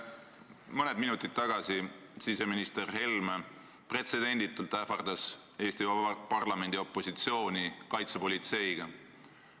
Mõni minut tagasi siseminister Helme pretsedenditult ähvardas Eesti Vabariigi parlamendi opositsiooni kaitsepolitseiga.